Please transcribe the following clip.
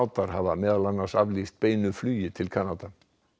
sádar hafa meðal annars aflýst beinu flugi til Kanada